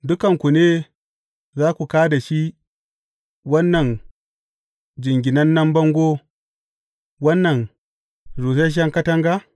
Dukanku ne za ku kā da shi wannan jinganannen bango, wannan rusasshen katanga?